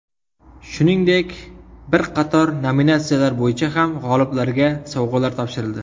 Shuningdek, bir qator nominatsiyalar bo‘yicha ham g‘oliblarga sovg‘alar topshirildi.